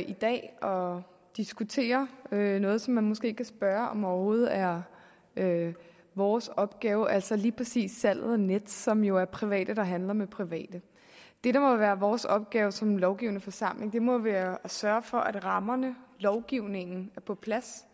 i dag og diskuterer noget som man måske kan spørge om overhovedet er vores opgave altså lige præcis salget af nets som jo er private der handler med private det der må være vores opgave som lovgivende forsamling må være at sørge for at rammerne lovgivningen er på plads